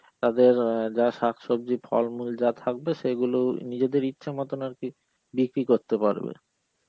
তাদের আঁ যা শাকসবজি, ফলমূল যা থাকবে সেইগুলো নিজেদের ইচ্ছা মতন আর কি বিক্রি করতে পারবে.